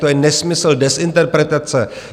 To je nesmysl, dezinterpretace.